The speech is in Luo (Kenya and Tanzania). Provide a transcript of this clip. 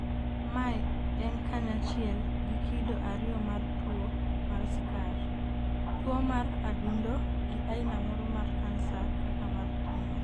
mae en kanyachiel gi kido ariyo mar tuwo mar skar, tuwo mar adundo, gi aina moro mar kansa kaka mar thuno